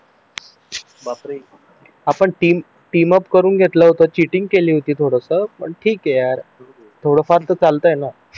बापरे आपण team up करून घेतलं होतं चीटिंग केली होती थोडं स पण ठीक आहे यार थोडाफार तर चालतंय ना